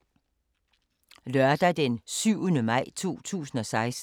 Lørdag d. 7. maj 2016